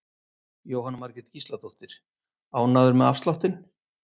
Jóhanna Margrét Gísladóttir: Ánægður með afsláttinn?